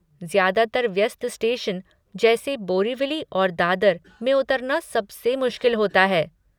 ज्यादातर व्यस्त स्टेशन जैसे बोरिवली और दादर में उतरना सबसे मुश्किल होता है।